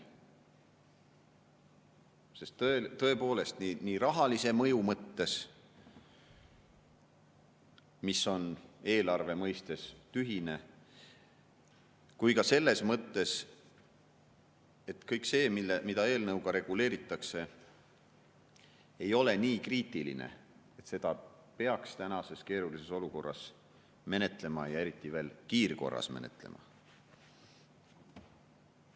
Sest tõepoolest, eelnõu rahalise mõju mõttes, mis on eelarve seisukohalt tühine, ega ka selles mõttes, et kõik see, mida eelnõuga reguleeritakse, ei ole nii kriitiline, et seda peaks tänases keerulises olukorras menetlema, ja veel kiirkorras menetlema.